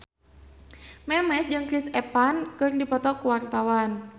Memes jeung Chris Evans keur dipoto ku wartawan